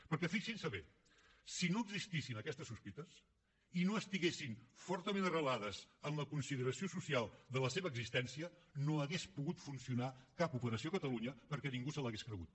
perquè fixin s’hi bé si no existissin aquestes sospites i no estiguessin fortament arrelades en la consideració social de la seva existència no hauria pogut funcionar cap operació catalunya perquè ningú se l’hauria cregut